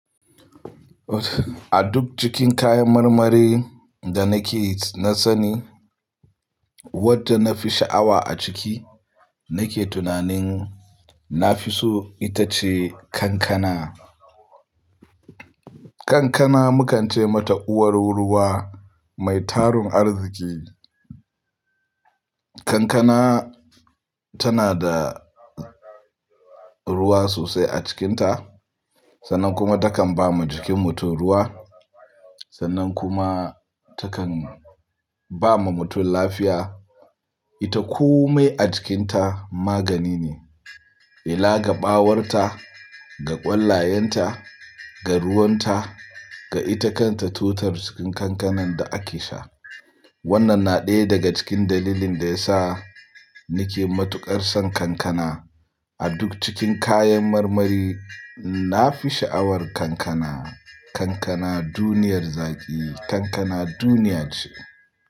A duk cikin kayan marmari da nake na sani, wadda na fi sha'awa a ciki, nake tunanin na fi so ita ce kankana. Kankana mukance mata uwar ruwa mai tarun arziki. Kankana tana da ruwa sosai a cikinta, sannan kuma takan ba ma jikin mutum ruwa, sannan kuma takan ba ma mutum lafiya. Ita kome a cikinta magani ne, ela ga ɓawarta, ga ƙwallayenta, ga ruwanta, ga ita kanta totur cikin kankanan da ake sha. Wannan na ɗaya daga cikin dalilin da ya sa nake matuƙar son kankana. A duk cikin kayan marmari, na fi sha'awar kankana. Kankana duniyar zaƙi, kankana duniya ce.